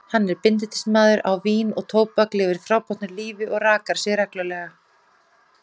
Hann er bindindismaður á vín og tóbak, lifir fábrotnu lífi og rakar sig reglulega.